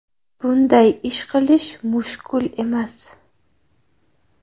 Bunday ish qilish mushkul emas.